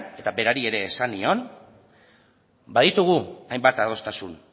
eta berari ere esan nion baditugu hainbat adostasun